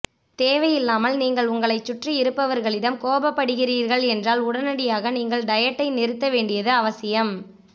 தேவையில்லாமல் நீங்கள் உங்களைச் சுற்றி இருப்பவர்களிடம் கோபப்படுகிறீர்கள் என்றால் உடனடியாக நீங்கள் டயட்டை நிறுத்த வேண்டியது அவசியம்